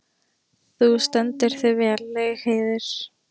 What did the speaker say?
Þú stendur þig vel, Laugheiður!